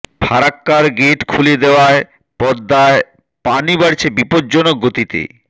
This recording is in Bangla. ফারাক্কার গেট খুলে দেওয়ায় পদ্মায় পানি বাড়ছে বিপদজনক গতিতে